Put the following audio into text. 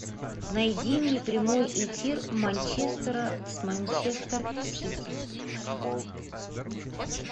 найди мне прямой эфир манчестера с манчестер сити